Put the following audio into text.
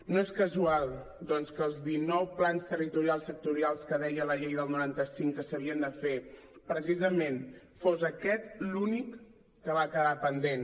no és casual doncs que dels dinou plans territorials sectorials que deia la llei del noranta cinc que s’havien de fer precisament fos aquest l’únic que va quedar pendent